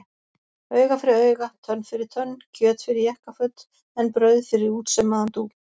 Auga fyrir auga, tönn fyrir tönn, kjöt fyrir jakkaföt en brauð fyrir útsaumaðan dúk.